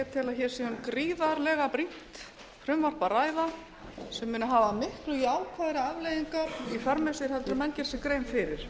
að hér sé um gríðarlega brýnt frumvarp að ræða sem muni hafa miklu jákvæðari afleiðingar í för með sér en menn gera sér grein fyrir